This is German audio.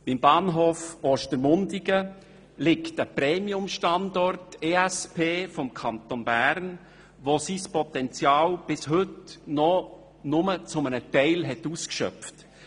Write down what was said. Beim Bahnhof Ostermundigen liegt ein Premium-Standort der Entwicklungsschwerpunkte (ESP) des Kantons Bern, welcher sein Potenzial bis heute nur teilweise ausschöpft.